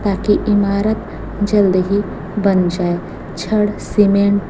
ताकि इमारत जल्द ही बन जाए छड़ सीमेंट --